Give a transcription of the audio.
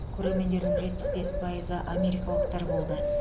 көрермендердің жетпіс бес пайызы америкалықтар болды